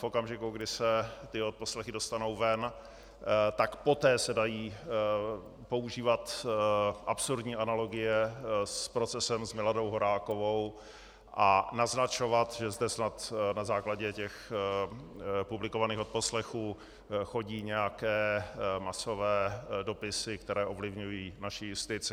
V okamžiku, kdy se ty odposlechy dostanou ven, tak poté se dají používat absurdní analogie s procesem s Miladou Horákovou a naznačovat, že zde snad na základě těch publikovaných odposlechů chodí nějaké masové dopisy, které ovlivňují naši justici.